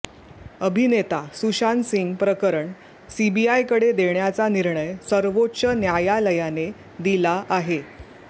अभिनेता सुशांतसिंह प्रकरण सीबीआयकडे देण्याचा निर्णय सर्वोच्च न्यायालयाने दिला आहे